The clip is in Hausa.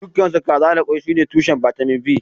Dukansu kaza da kwai sune tushen bitamin B